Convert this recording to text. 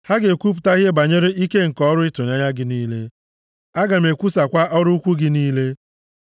Ha ga-ekwupụta ihe banyere ike nke ọrụ ịtụnanya gị niile, aga m ekwusakwa ọrụ ukwuu gị niile.